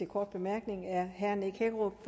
kort bemærkning er herre nick hækkerup